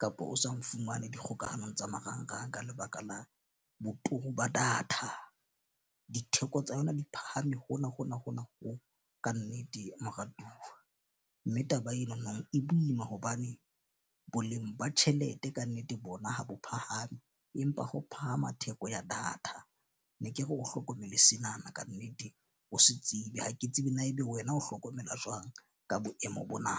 kapa o sa nfumane dikgokahano tsa marang rang ka lebaka la boturu ba data. Ditheko tsa yona di phahame hona hona hona ho kannete moratuwa, mme taba ena nang e boima hobane boleng ba tjhelete kannete bona ha bo phahame, empa ho phahama theko ya data. Ne ke re o hlokomele senana. Kannete o se tsebe ha ke tsebe na ebe wena o hlokomela jwang ka boemo bona?